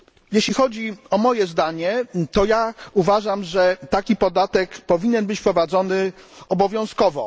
Jeśli chodzi o moje zdanie, to uważam, że taki podatek powinien być wprowadzony obowiązkowo.